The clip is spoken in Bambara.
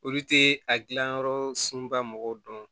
Olu tɛ a dilanyɔrɔ sun ba mɔgɔw dɔn